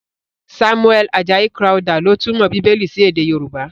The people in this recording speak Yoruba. Samuel Ajayi Crowther ló túmọ̀ Bíbélì sí èdè Yorùbá.